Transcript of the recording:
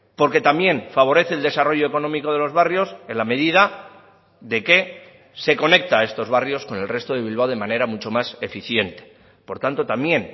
porque también favorece el desarrollo económico de los barrios en la medida de que se conecta a estos barrios con el resto de bilbao de manera mucho más eficiente por tanto también